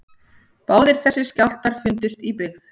Báðir þessir skjálftar fundust í byggð